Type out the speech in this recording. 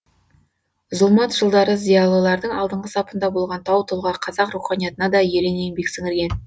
зұлмат жылдары зиялылардың алдыңғы сапында болған тау тұлға қазақ руханиятына да ерен еңбек сіңірген